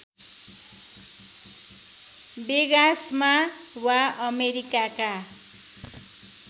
वेगासमा वा अमेरिकाका